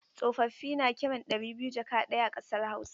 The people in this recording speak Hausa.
Tsofaffin da na kiran ɗari biyu jaka ɗaya a ƙasar Hausa.